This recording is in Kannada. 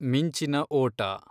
ಮಿಂಚಿನ ಓಟ